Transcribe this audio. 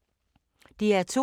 DR2